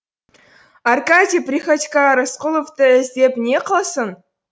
аркадий приходько рысқұловты іздеп не қылсын